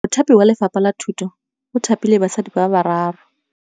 Mothapi wa Lefapha la Thutô o thapile basadi ba ba raro.